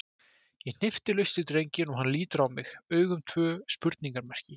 Ég hnippi laust í drenginn og hann lítur á mig, augun tvö spurningarmerki.